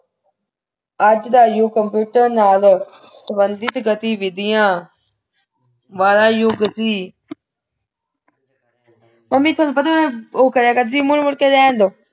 ਅੱਜ ਦਾ ਯੁੱਗ computer ਨਾਲ ਸੰਬੰਧਿਤ ਗਤੀਵਿਧੀਆਂ ਵਾਲਾ ਯੁੱਗ ਸੀ ਮੰਮੀ ਤੁਹਾਨੂੰ ਪਤਾ ਮੈਂ ਉਹ ਕਰਿਆ ਕਰਦੀ ਮੁੜ ਮੁੜ ਕੇ ਰਹਿਣ ਦੇ